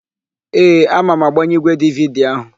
Ee, ama m agbanye ígwèdividi áhụ̀.